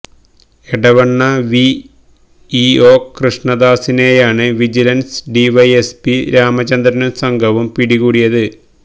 Edavanna V E O കൃഷ്ണദാസിനെയാണ് vigilance D Y S P രാമചന്ദ്രനും സംഘവും പിടികൂടിയത്